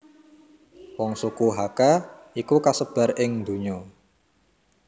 Wong suku Hakka iku kasebar ing ndonya